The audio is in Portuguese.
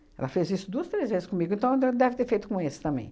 Ela fez isso duas, três vezes comigo, então de deve ter feito com esse também.